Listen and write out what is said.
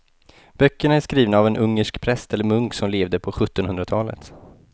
Böckerna är skrivna av en ungersk präst eller munk som levde på sjuttonhundratalet.